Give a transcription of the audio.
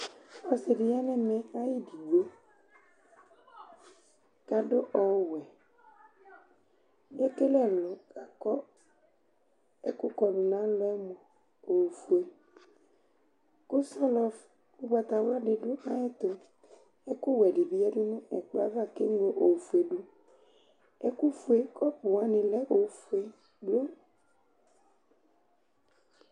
Ɔsɩ dɩ ya nɛmɛ ayɩdɩgbo ,ta dʋ ɔwɛ, t' ekele ɛlʋ, lakʋ ɛkʋ kɔdʋ n' alɔɛ mʋa ofue Kʋ sɔlɔ ʋgbatawla dɩ dʋ ayɛtʋ; ɛkʋ wɛ dɩ bɩ yǝdu nɛkplɔ ava k 'eŋlo ɛkʋ fue dʋƐkʋ fue, kɔpʋ wanɩ lɛ ofue kplo